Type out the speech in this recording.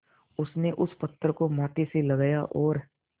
उसने उस पत्थर को माथे से लगाया और